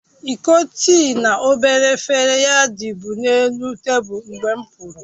Iko tịị na obere efere ya dibu n'elu tabulu mgbe m'puru